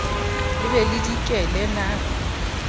le be le dikele na